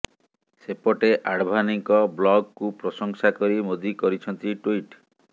ସେପଟେ ଆଡଭାନୀଙ୍କ ବ୍ଲଗ୍ କୁ ପ୍ରଶଂସା କରି ମୋଦି କରିଛନ୍ତି ଟ୍ବିଟ୍